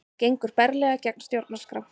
Gengur berlega gegn stjórnarskrá